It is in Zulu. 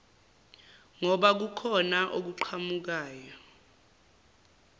ngoba kukhona okuqhamukayo